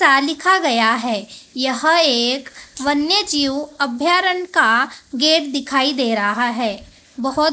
सा लिखा गया है यह एक वन्य जीव अभ्यारण का गेट दिखाई दे रहा है बहोत --